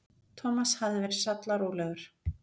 Thomas hafði verið sallarólegur.